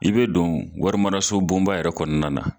I be don warimarasobonba yɛrɛ kɔnɔna na